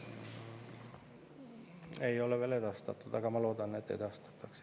Ei ole veel edastatud, aga ma loodan, et edastatakse.